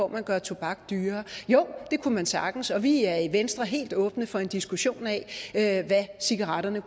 man gjorde tobak dyrere jo det kunne man sagtens og vi er i venstre helt åbne for en diskussion af hvad cigaretter